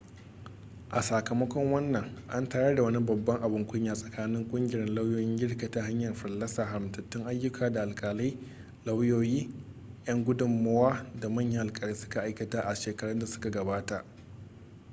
a sakamakon wannan an tayar wani babban abin kunya tsakanin kungiyar lauyoyin girka ta hanyar fallasa haramtattun ayyuka da alkalai lauyoyi yan gudunmowa da manyan alkalai suka aikata a shekarun da suka gabata